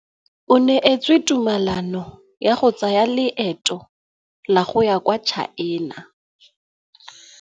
O neetswe tumalanô ya go tsaya loetô la go ya kwa China.